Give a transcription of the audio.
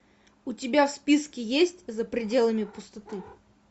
у тебя в списке есть за пределами пустоты